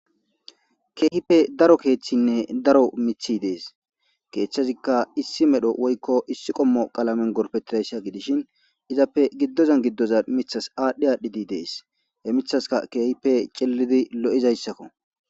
Keehipe daro keeththinne daro miththi de'es keeththezikka issi medho woykko issi qommo qalamen gorpetidayssa gidishin izappe giddozan giddozan miththas aadhdhi aadhdhidi de'es he miththaska keehipe cellidi lo'izayssakko.